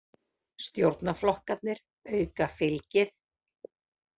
Stjórnarflokkarnir auka fylgið